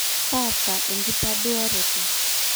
taasaa enkitoduaroto